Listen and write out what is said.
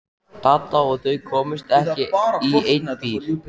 Dadda að þau komust ekki í einn bíl.